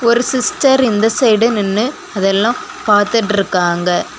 ஒரு சிஸ்டர் இந்த சைடு நின்னு அதெல்லாம் பாத்துட்டு இருக்காங்க.